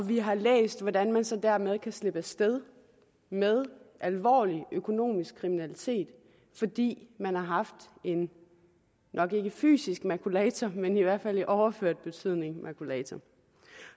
vi har læst hvordan man så dermed kan slippe afsted med alvorlig økonomisk kriminalitet fordi man har haft en nok ikke fysisk makulator men i hvert fald i overført betydning en makulator